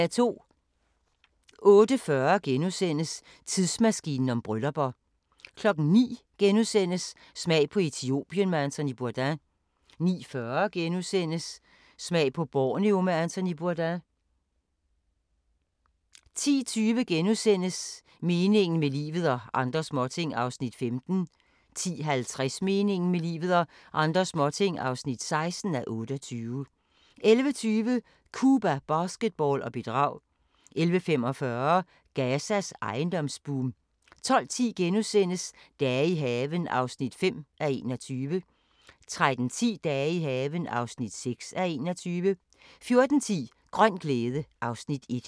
08:40: Tidsmaskinen om bryllupper * 09:00: Smag på Etiopien med Anthony Bourdain * 09:40: Smag på Borneo med Anthony Bourdain * 10:20: Meningen med livet – og andre småting (15:28)* 10:50: Meningen med livet – og andre småting (16:28) 11:20: Cuba, basketball og bedrag 11:45: Gazas ejendomsboom 12:10: Dage i haven (5:21)* 13:10: Dage i haven (6:21) 14:10: Grøn glæde (Afs. 1)